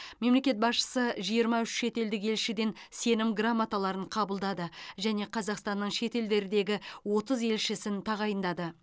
мемлекет басшысы жиырма үш шетелдік елшіден сенім грамоталарын қабылдады және қазақстанның шетелдердегі отыз елшісін тағайындады